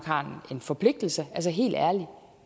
har en forpligtelse altså helt ærligt